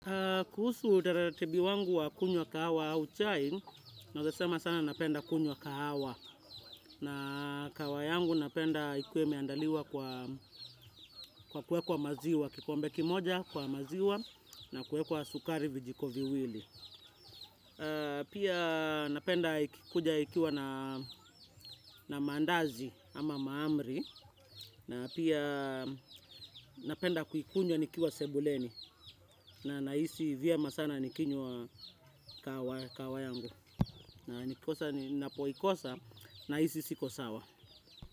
Kuhusu utaratibu wangu wa kunywa kahawa au chai, nawezasema sana napenda kunywa kahawa. Na kahawa yangu napenda ikuwe meandaliwa kwa kuwekwa maziwa, kikombe kimoja kwa maziwa na kuwekwa sukari vijiko viwili. Pia napenda ikikuja ikiwa na mandazi ama maamri. Na pia napenda ku ikunywa nikiwa sebuleni na naisi vyema sana nikinywa kahawa yangu na ninapoikosa na nahisi siko sawa.